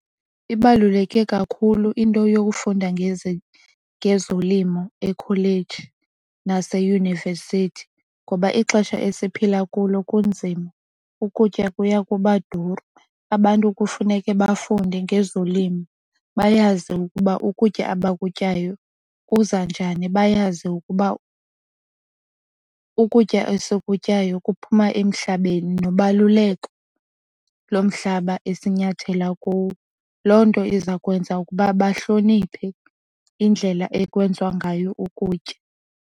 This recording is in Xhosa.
Ibaluleke kakhulu into yokufunda ngezolimo ekholeji naseyunivesithi ngoba ixesha esiphila kulo kunzima ukutya kuya kuba duru. Abantu kufuneke bafunde ngezolimo bayazi ukuba ukutya abakutyayo kuza njani. Bayazi ukuba ukutya esikutyayo kuphuma emhlabeni nobaluleko lo mhlaba esinyathela kuwo. Loo nto iza kwenza ukuba bahloniphe indlela ekwenziwa ngayo ukutya.